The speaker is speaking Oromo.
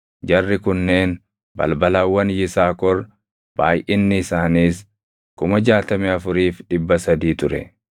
Jarri kunneen balbalawwan Yisaakor; baayʼinni isaaniis 64,300 ture.